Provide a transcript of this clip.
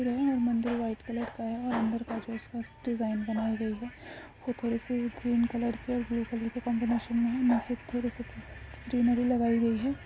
मंदिर वो white colour का है मंदिर के जो आस-पास का डिजायन बनी गई है और वो थड़ी सी green colour blue colour combination में है निचे थोड़ी-सी ग्रेनरी लगाई गई है।